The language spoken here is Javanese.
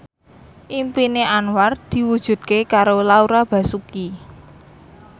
impine Anwar diwujudke karo Laura Basuki